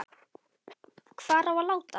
Hvar á að láta hann?